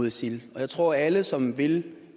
isil jeg tror at alle som vil